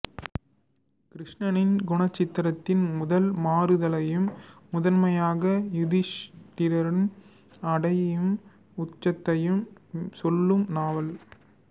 கிருஷ்ணனின் குணசித்திரத்தின் முதல் மாறுதலையும் முதன்மையாக யுதிஷ்டிரன் அடையும் உச்சத்தையும் சொல்லும் நாவல்